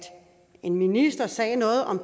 en minister sagde noget om